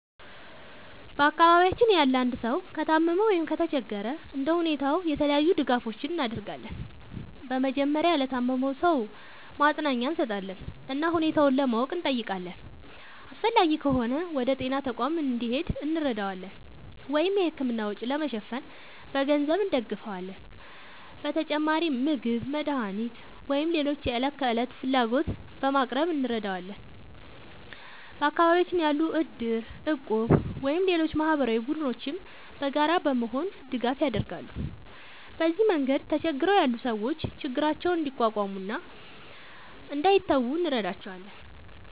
በአካባቢያችን ያለ አንድ ሰው ከታመመ ወይም ከተቸገረ እንደ ሁኔታው የተለያዩ ድጋፎችን እናደርጋለን። በመጀመሪያ ለታመመው ሰው ማጽናኛ እንሰጣለን እና ሁኔታውን ለማወቅ እንጠይቃለን። አስፈላጊ ከሆነ ወደ ጤና ተቋም እንዲሄድ እንረዳዋለን ወይም የሕክምና ወጪ ለመሸፈን በገንዘብ እንደግፋለን። በተጨማሪም ምግብ፣ መድኃኒት ወይም ሌሎች የዕለት ፍላጎቶችን በማቅረብ እንረዳዋለን። በአካባቢያችን ያሉ እድር፣ እቁብ ወይም ሌሎች ማህበራዊ ቡድኖችም በጋራ በመሆን ድጋፍ ያደርጋሉ። በዚህ መንገድ ተቸግረው ያሉ ሰዎች ችግራቸውን እንዲቋቋሙ እና እንዳይተዉ እንረዳቸዋለን።